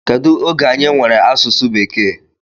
Kedu oge anyị nwere asụsụ bekee?